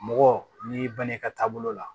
Mɔgɔ n'i banna i ka taabolo la